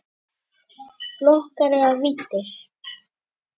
Flokkar eða víddir